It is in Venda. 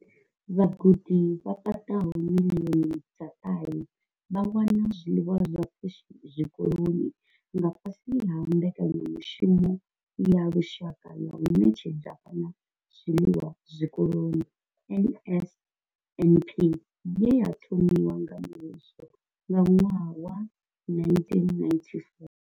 Vhagudi vha paḓaho miḽioni dza ṱahe vha wana zwiḽiwa zwa pfushi zwikoloni nga fhasi ha mbekanyamushumo ya lushaka ya u ṋetshedza vhana zwiḽiwa zwikoloni NSNP ye ya thomiwa nga muvhuso nga ṅwaha wa 1994.